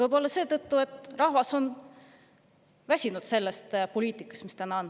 Võib-olla seetõttu, et rahvas on väsinud sellest poliitikast, mis täna on.